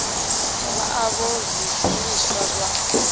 vha o vha zwishumiswa zwa